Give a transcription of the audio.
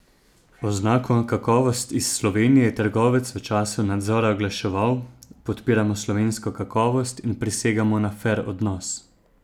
Oznako "Kakovost iz Slovenije" je trgovec v času nadzora oglaševal: "Podpiramo slovensko kakovost in prisegamo na fer odnos.